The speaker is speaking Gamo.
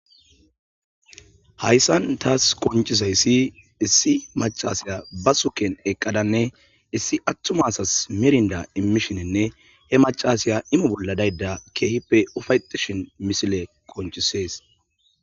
hayssan taas qonchisayssi issi macasiya ba suken eqqadanne issi attumasas mirnda immishinenne he macasiya ime bolla dayda keehippe ufayetishin misile qonchisees